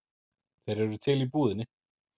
Þeir eru til í búðinni.